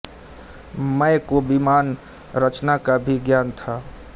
मय को विमान रचना का भी ज्ञान था